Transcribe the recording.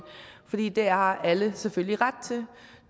fordi det har alle selvfølgelig ret til